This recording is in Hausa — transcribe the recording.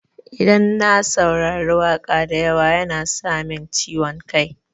Idan na saurari waƙa da yawa yana sa min ciwon kai.